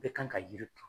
Bɛɛ kan ka yiri to